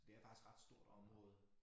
Så det er faktisk ret stort område